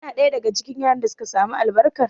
Kana ɗaya daga cikin yaran da suka samu albarkar?